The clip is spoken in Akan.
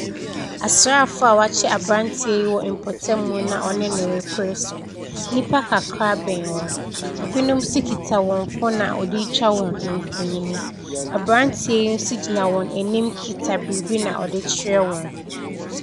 Asraafoɔ a wɔakyere aberante yi wɔ mpɔtamu na wɔne no ɛrepere so, nnipa kakra bɛn hɔ, binom nso kita wɔn foon a wɔde ɛretwa mfonini. Aberanteɛ yi nso gyina wɔn anim kita biribi na ɔde rekyerɛ wɔn.